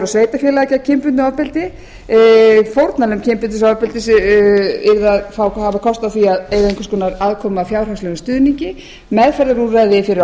sveitarfélaga gegn kynbundnu ofbeldi fórnarlömb kynferðisofbeldis yrðu að hafa kost á því að eiga einhvers konar afkomu að fjárhagslegum stuðningi meðferðarúrræði fyrir